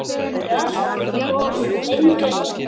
Sátu allt of lengi hjá.